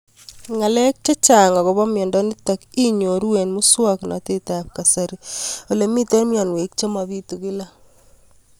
Ng'alek chechang' akopo miondo nitok inyoru eng' muswog'natet ab kasari ole mito mianwek che mapitu kila